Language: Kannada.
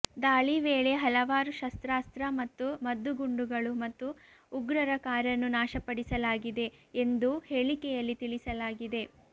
ದಾಳಿ ವೇಳೆ ಹಲವಾರು ಶಸ್ತ್ರಾಸ್ತ್ರ ಮತ್ತು ಮದ್ದುಗುಂಡುಗಳು ಮತ್ತು ಉಗ್ರರ ಕಾರನ್ನು ನಾಶಪಡಿಸಲಾಗಿದೆ ಎಂದೂ ಹೇಳಿಕೆಯಲ್ಲಿ ತಿಳಿಸಲಾಗಿದೆ